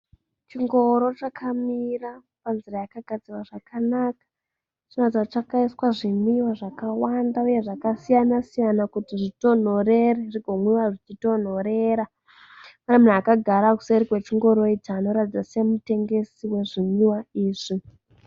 Chingoro chakamira panzira yakagadzirwa zvakanaka chinoratidza kuti chakaiswa zvimwiwa zvakawanda uye zvakasiyana siyana kuti zvitonhorere kuti zvigomwiwa zvichitonhorera. Pane munhu akagara kuseri kwechingoro ichi anoratidza kuti ndiye mutengesi wezvinwiwa izvi.